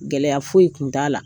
Gɛlɛyaya foyi tun t'a la,